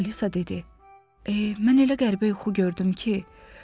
Alisa dedi: Eh, mən elə qəribə yuxu gördüm ki.